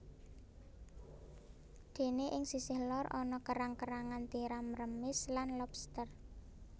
Dene ing sisih lor ana kerang kerangan tiram remis lan lobster